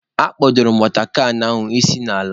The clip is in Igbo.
Akpodoro m watọ kan ahụ isi n'ala.